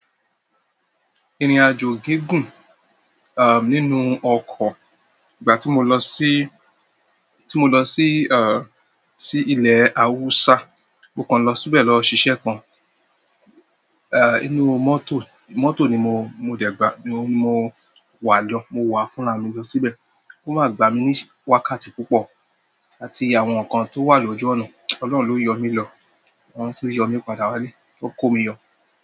Ìrìn-àjò gígùn, aah, nínú ọkọ̀, ìgbà tí mo lọ síí, tí mo lọ síí, aah, sí ilẹ̀ Awúsá, mo kan lọ síbẹ̀ lọ ṣiṣẹ́ kan, aah, inú mọ́tò, mọ́tò ni mo, mo dẹ̀ gbà, mo wà lọ, mo wàá fúnra mi lọ síbẹ̀, ó máa gba mi ní wákàtí púpọ̀, àti àwọn nǹkan tó wà lójú ọ̀nà. Ọlọ́run ló yọ mí lọ, wọ́n tú yọ mí padà wálé, ó kó mi yọ.